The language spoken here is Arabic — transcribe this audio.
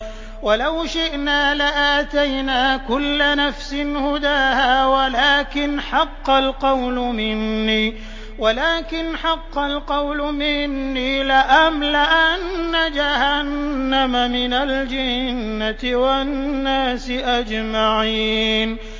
وَلَوْ شِئْنَا لَآتَيْنَا كُلَّ نَفْسٍ هُدَاهَا وَلَٰكِنْ حَقَّ الْقَوْلُ مِنِّي لَأَمْلَأَنَّ جَهَنَّمَ مِنَ الْجِنَّةِ وَالنَّاسِ أَجْمَعِينَ